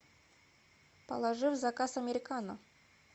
положи в заказ американо